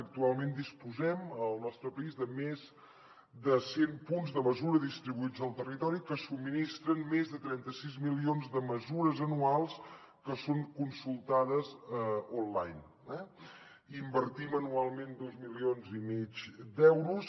actualment disposem al nostre país de més de cent punts de mesura distribuïts al territori que subministren més de trenta sis milions de mesures anuals que són consultades online eh i hi invertim anualment dos milions i mig d’euros